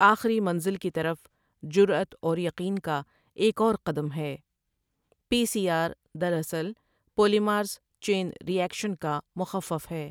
آخری منزل کی طرف جرأت اور یقین کا ایک اور قدم ہے پی سی آر دراصل پولیمیراز چین ری ایکشن کا مخفف ہے ۔